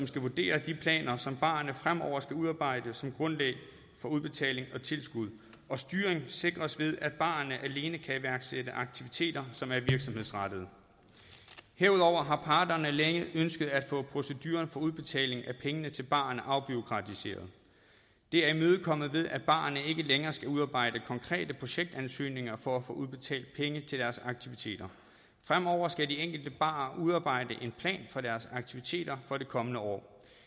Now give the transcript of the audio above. skal vurdere de planer som barerne fremover skal udarbejde som grundlag for udbetaling og tilskud og styring sikres ved at barerne alene kan iværksætte aktiviteter som er virksomhedsrettede herudover har parterne længe ønsket at få proceduren for udbetaling af pengene til barerne afbureaukratiseret det er imødekommet med at barerne ikke længere skal udarbejde konkrete projektansøgninger for at få udbetalt penge til deres aktiviteter fremover skal de enkelte barer udarbejde en plan for deres aktiviteter for det kommende år